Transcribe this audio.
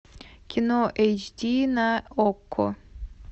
кино эйч ди на окко